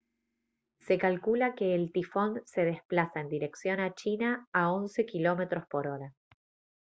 se calcula que el tifón se desplaza en dirección a china a 11 km/h